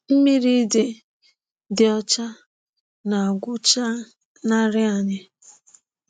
Mmiri dị dị ọcha na-agwụchanarị anyị.